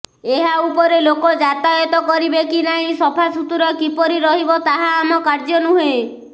ଏହା ଉପରେ ଲୋକ ଯାତାୟତ କରିବେ କି ନାହିଁ ସଫାସୁତରା କିପରି ରହିବ ତାହା ଆମ କାର୍ଯ୍ୟ ନୁହେଁ